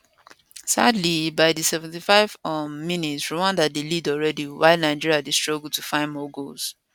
sadly by di 75th um minute rwanda dey lead already while nigeria dey struggle to find more goals